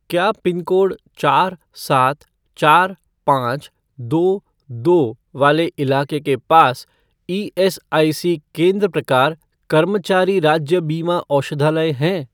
क्या पिनकोड चार सात चार पाँच दो दो वाले इलाके के पास ईएसआईसी केंद्र प्रकार कर्मचारी राज्य बीमा औषधालय हैं?